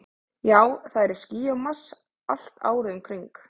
Já, það eru ský á Mars, allt árið um kring.